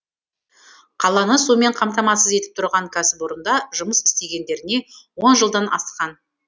қаланы сумен қамтамасыз етіп тұрған кәсіпорында жұмыс істегендеріне он жылдан асқан